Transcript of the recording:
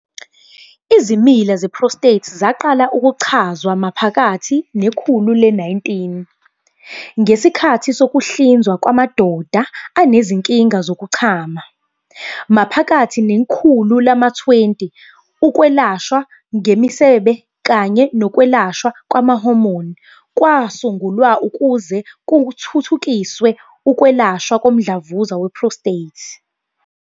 Izimila ze-prostate zaqala ukuchazwa maphakathi nekhulu le-19, ngesikhathi sokuhlinzwa kwamadoda anezinkinga zokuchama. Maphakathi nekhulu lama-20, ukwelashwa ngemisebe kanye nokwelashwa kwama-hormone kwasungulwa ukuze kuthuthukiswe ukwelashwa komdlavuza we-prostate.